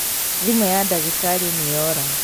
Thimũ ya ndagĩtarĩ nĩyora